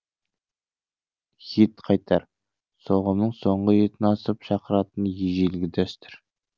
ет қайтар соғымның соңғы етін асып шақыратын ежелгі дәстүр